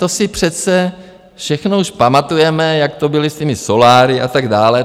To si přece všechno už pamatujeme, jak to bylo s těmi soláry a tak dále.